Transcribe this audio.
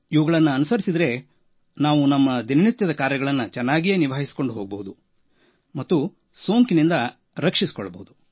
ಇವುಗಳನ್ನು ಅನುಸರಿಸಿದರೆ ನಾವು ನಮ್ಮ ದಿನನಿತ್ಯದ ಕೆಲಸ ಕಾರ್ಯಗಳನ್ನು ಚೆನ್ನಾಗಿಯೇ ನಿಭಾಯಿಸಿಕೊಂಡು ಹೋಗಬಹುದು ಹಾಗೂ ಸೋಂಕಿನಿಂದ ರಕ್ಷಿಸಿಕೊಳ್ಳಲೂಬಹುದು